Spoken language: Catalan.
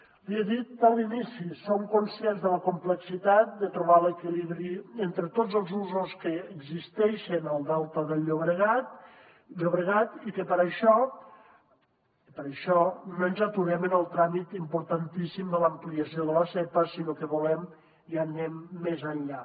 l’hi he dit a l’inici som conscients de la complexitat de trobar l’equilibri entre tots els usos que existeixen al delta del llobregat i que per això per això no ens aturem en el tràmit importantíssim de l’ampliació de la zepa sinó que volem i anem més enllà